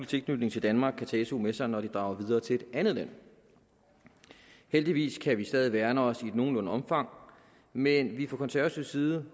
tilknytning til danmark kan tage su med sig når de drager videre til et andet land heldigvis kan vi stadig værne os i et nogenlunde omfang men fra konservativ side